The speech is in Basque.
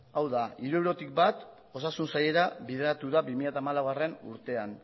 hau da hirurogeitik bat osasun sailera bideratu da bi mila hamalaugarrena urtean